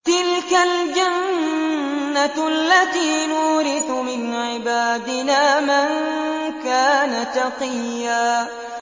تِلْكَ الْجَنَّةُ الَّتِي نُورِثُ مِنْ عِبَادِنَا مَن كَانَ تَقِيًّا